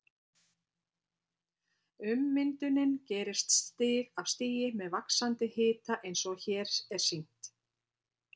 Ummyndunin gerist stig af stigi með vaxandi hita eins og hér er sýnt